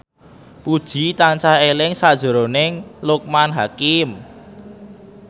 Puji tansah eling sakjroning Loekman Hakim